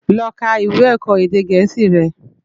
Lò ká iwé èkò édé gèési rè